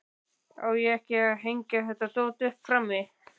Á ég ekki að hengja þetta dót upp frammi?